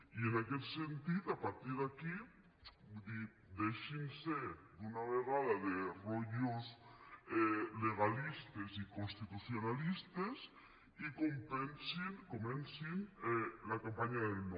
i en aquest sentit a partir d’aquí vull dir deixin se d’una vegada de rotllos legalistes i constitucionalistes i comencin la campanya del no